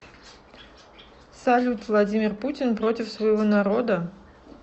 салют владимир путин против своего народа